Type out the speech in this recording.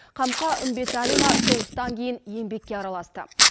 қамқа үмбеталина соғыстан кейін еңбекке араласты